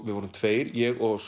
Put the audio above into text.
við vorum tveir ég og